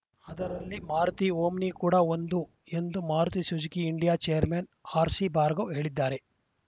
ಅದರಲ್ಲಿ ಮಾರುತಿ ಓಮ್ನಿ ಕೂಡ ಒಂದು ಎಂದು Maruti Suzuki India chairman R C Bhargava ಹೇಳಿದ್ದಾರೆ